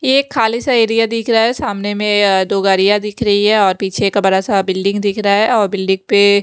ये एक खाली सा एरिया दिख रहा है सामने में दो गाड़ियां दिख रही है और पीछे का बड़ा सा बिल्डिंग दिख रहा है और बिल्डिंग पे--